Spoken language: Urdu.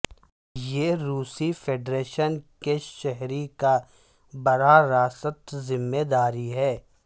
یہ روسی فیڈریشن کے شہری کا براہ راست ذمہ داری ہے